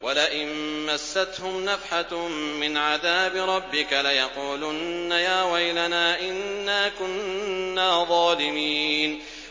وَلَئِن مَّسَّتْهُمْ نَفْحَةٌ مِّنْ عَذَابِ رَبِّكَ لَيَقُولُنَّ يَا وَيْلَنَا إِنَّا كُنَّا ظَالِمِينَ